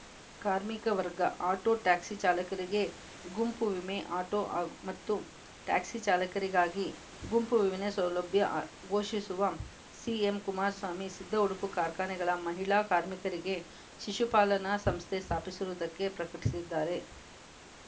ಕಾರ್ಮಿಕ ವರ್ಗ auto taxi ಚಾಲಕರಿಗೆ ಗುಂಪು ವಿಮೆ ಆಟೋ ಹಾಗ್ ಮತ್ತು ಟ್ಯಾಕ್ಸಿ ಚಾಲಕರಿಗಾಗಿ ಗುಂಪು ವಿಮೆ ಸೌಲಭ್ಯ ಘೋಷಿಸುವ ಸಿಎಂ ಕುಮಾರಸ್ವಾಮಿ ಸಿದ್ಧ ಉಡುಪು ಕಾರ್ಖಾನೆಗಳ ಮಹಿಳಾ ಕಾರ್ಮಿಕರಿಗೆ ಶಿಶುಪಾಲನಾ ಸಂಸ್ಥೆ ಸ್ಥಾಪಿಸುರುವುದಕ್ಕೆ ಪ್ರಕಟಿಸಿದ್ದಾರೆ